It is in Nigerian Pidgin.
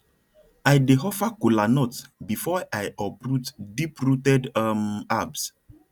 i dey offer kola nut before i uproot deeprooted um herbs